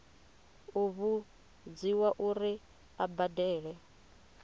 u vhudziwa uri a badele